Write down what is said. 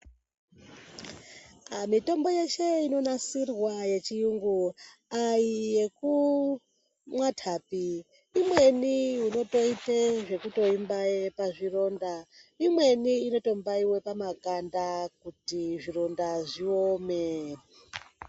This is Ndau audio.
Mitombo yeshe inonasirwa yechiyungu aiyekumwathapi. Imweni unotoite zvekutoimbaye pazvironda, imweni inotombaiwe pamakanda kuti zvironda zviome.